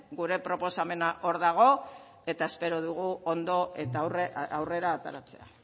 gure proposamena hor dago eta espero dugu ondo eta aurrera ateratzea